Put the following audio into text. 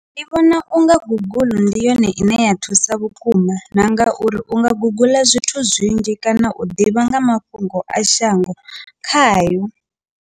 Ndi vhona unga guguḽu ndi yone ine ya thusa vhukuma na ngauri u nga guguḽa zwithu zwinzhi kana u ḓivha nga mafhungo a shango khayo.